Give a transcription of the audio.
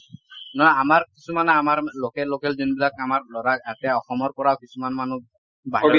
ন আমাৰ কিছুমান আমাৰ local local যোনবিলাক আমাৰ লৰা তাতে অসমৰ পৰাও কিছুমান মানুহ বা